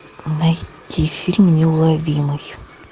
найти фильм неуловимый